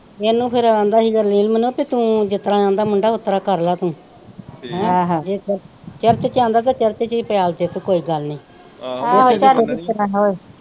ਇਹਨੂੰ ਫਿਰ ਆਂਦਾ ਹੀ ਨੀਲਮ ਨੂੰ ਪੀ ਤੂੰ ਜਿਸਤਰਾਂ ਆਂਦਾ ਮੁੰਡਾ ਉਸਤਰਾ ਕਰ ਲਾ ਤੂੰ ਆਹੋ ਚਰਚ ਚ ਆਂਦਾ ਤੇ ਚਰਚ ਚ ਈ ਪਿਆਲ ਦੇ ਤੂੰ ਕੋਈ ਗੱਲ ਨਹੀਂ ਹੋਰ।